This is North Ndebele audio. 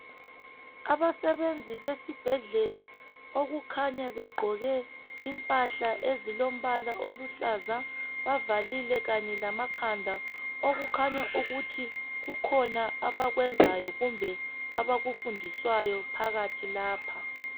Abasebenzi besibhedlela okukhanya begqoke impahla ezilombala oluhlaza bavalile Kanye lamakhanda okukhanya ukuthi kukhona abakwenzayo kumbe abafundiswayo phakathi lapha.